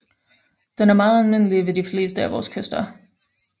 Den er meget almindelig ved de fleste af vores kyster